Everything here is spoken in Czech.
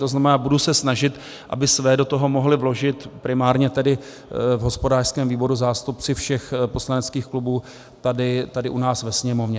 To znamená, budu se snažit, aby své do toho mohli vložit primárně tedy v hospodářském výboru zástupci všech poslaneckých klubů tady u nás ve Sněmovně.